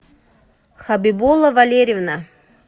хабибула валерьевна